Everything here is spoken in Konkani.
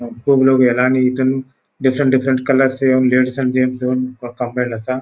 खूब लोग येला आणि इथून डिफरेंट डिफरेंट कलर्स आसा.